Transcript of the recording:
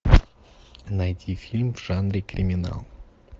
найти фильм в жанре криминал